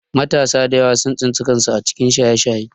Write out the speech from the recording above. Matasa da yawa sun tsinci kansu a cikin Shaye-Shaye